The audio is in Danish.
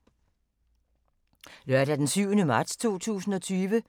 Lørdag d. 7. marts 2020